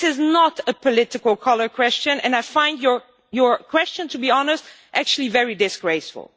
This is not a political colour question, and I find your question, to be honest, actually very disgraceful.